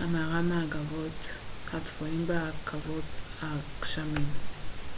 המארה מהגבעות הצפוניות בעקבות הגשמים